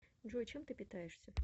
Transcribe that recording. джой чем ты питаешься